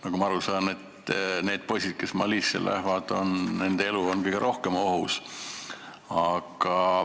Nagu ma aru saan, on Malisse minevate poiste elu kõige rohkem ohus.